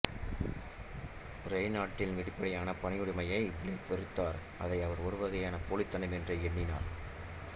ரேய்னால்டின் வெளிப்படையான பணிவுடைமையை பிளேக் வெறுத்தார் அதை அவர் ஒருவகையான போலித்தனம் என்றே எண்ணினார்